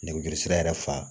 Nɛgɛjuru sira yɛrɛ fa